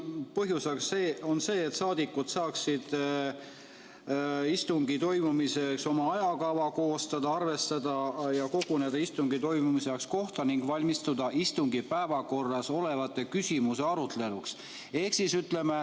Põhjuseks on see, et saadikud saaksid istungi toimumiseks oma ajakava koostada, arvestada ja koguneda istungi toimumise kohta ning valmistuda istungi päevakorras olevate küsimuste aruteluks.